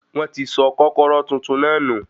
Wọ́n ti sọ kọ́kọ́rọ́ tuntun náà nù.